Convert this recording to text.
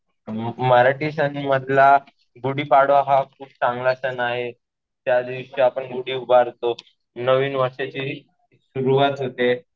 मराठी सण मधला गुढीपाडवा हा खूप चांगला सण आहे. त्यादिवशी आपण गुढी उभारतो. नवीन वर्षाची सुरुवात होते.